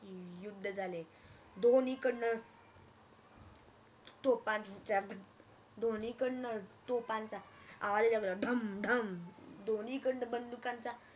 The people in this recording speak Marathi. युद्ध झाले दोन्ही कडण तोफानचा आवाज आला ढम ढम दोन्ही कडण बंदुकांचा